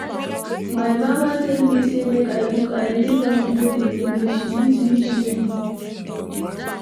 My mama tell me say make I cook, I leave am go dey play. She beat me shege.